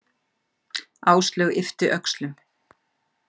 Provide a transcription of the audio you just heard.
Áslaug yppti öxlum.